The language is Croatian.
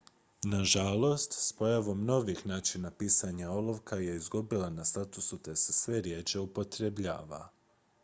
nažalost s pojavom novijih načina pisanja olovka je izgubila na statusu te se sve rjeđe upotrebljava